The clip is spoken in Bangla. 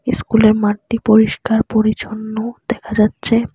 ইস্কুল -এর মাঠটি পরিষ্কার পরিছন্ন দেখা যাচ্চে।